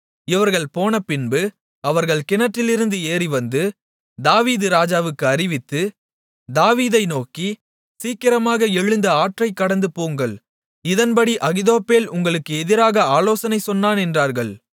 இவர்கள் போனபின்பு அவர்கள் கிணற்றிலிருந்து ஏறிவந்து தாவீது ராஜாவுக்கு அறிவித்து தாவீதை நோக்கி சீக்கிரமாக எழுந்து ஆற்றைக் கடந்துபோங்கள் இதன்படி அகித்தோப்பேல் உங்களுக்கு எதிராக ஆலோசனை சொன்னான் என்றார்கள்